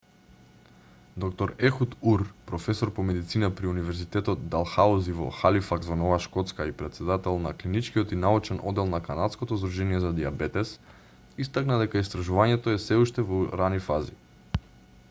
д-р ехуд ур професор по медицина при универзитетот далхаузи во халифакс во нова шкотска и претседател на клиничкиот и научен оддел на канадското здружение за дијабетес истакна дека истражувањето сѐ уште е во рани фази